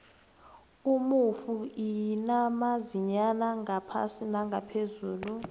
umunfuinamazinya ngaphasi ngaphezulu